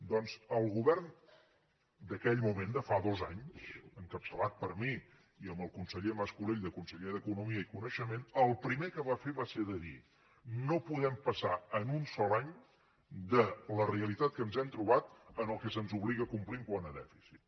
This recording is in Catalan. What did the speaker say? doncs el govern d’aquell moment de fa dos anys encapçalat per mi i amb el conseller mas colell de conseller d’economia i coneixement el primer que va fer va ser dir no podem passar en un sol any de la realitat que ens hem trobat al que se’ns obliga a complir quant a dèficit